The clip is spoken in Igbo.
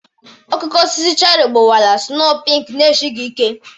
Okooko osisi cheri gbawara snoo pinki na-esighi ike.